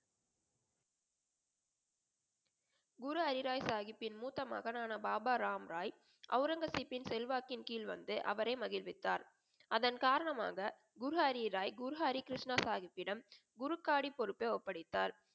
குரு ஹரி ராய் சாஹிபின் மூத்த மகனான பாபா ராம் ராய் ஆரங்கசப்யின் செல்வாக்கின் கிழ் வந்து அவரை மகிழ்வித்தார். அதன் காரணமாக குரு ஹரி ராய் குரு ஹரி கிருஷ்ணா சாஹிப்பிடம் குரு காடி பொறுப்பை ஒப்படைதார்.